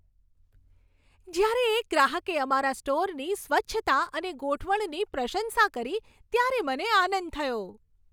જ્યારે એક ગ્રાહકે અમારા સ્ટોરની સ્વચ્છતા અને ગોઠવણની પ્રશંસા કરી ત્યારે મને આનંદ થયો.